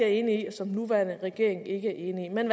enig i og som den nuværende regering ikke er enig i man